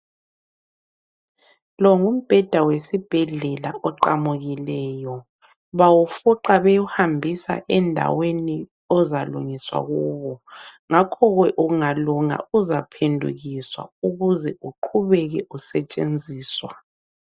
Lo ngumbheda wesibhedlela oqamukileyo bawufuqa bewuhambisa endaweni ozalungiswa kuwo, ngakhoke ungalunga uzaphendukiswa ukuze uqhubeke usetshenziswa.